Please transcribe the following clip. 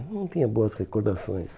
eu não tinha boas recordações.